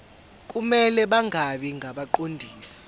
kumele bangabi ngabaqondisi